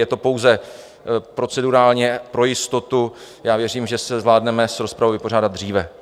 Je to pouze procedurálně pro jistotu, já věřím, že se zvládneme s rozpravou vypořádat dříve.